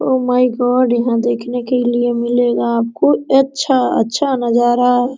O my god यहाँ देखने के लिए मिलेगा अच्छा-अच्छा नजारा --